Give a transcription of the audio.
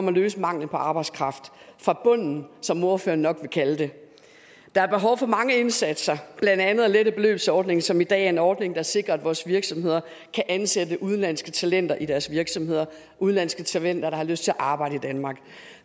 at løse manglen på arbejdskraft fra bunden som ordføreren nok vil kalde det der er behov for mange indsatser blandt andet at lette beløbsordningen som i dag er en ordning der sikrer at vores virksomheder kan ansætte udenlandske talenter i deres virksomheder udenlandske talenter der har lyst til at arbejde i danmark